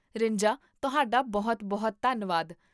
ਰਿੰਜਾ ਤੁਹਾਡਾ ਬਹੁਤ ਬਹੁਤ ਧੰਨਵਾਦ